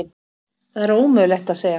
Það er ómögulegt að segja.